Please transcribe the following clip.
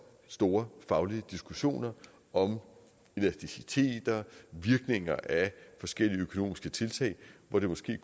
store faglige diskussioner om elasticiteter virkninger af forskellige økonomiske tiltag hvor det måske